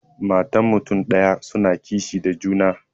Matan mutun daya suna kishi da juna.